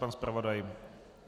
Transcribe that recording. Pan zpravodaj?